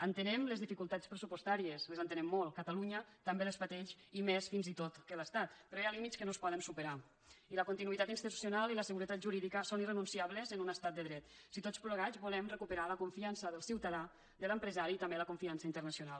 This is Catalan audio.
entenem les dificultats pressupostàries les entenem molt catalunya també les pateix i més fins i tot que l’estat però hi ha límits que no es poden superar i la continuïtat institucional i la seguretat jurídica són irrenunciables en un estat de dret si tots plegats volem recuperar la confiança del ciutadà de l’empresari i també la confian ça internacional